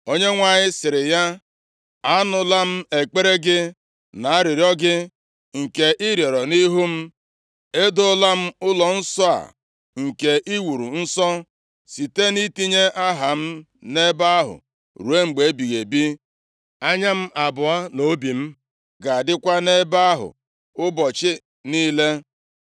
Onyenwe anyị sịrị ya, “Anụla m ekpere gị, na arịrịọ gị, nke ị rịọrọ nʼihu m. Edoola m ụlọnsọ a nke i wuru nsọ, site nʼitinye Aha m nʼebe ahụ ruo mgbe ebighị ebi. Anya m na obi m abụọ ga-adịkwa nʼebe ahụ ụbọchị niile.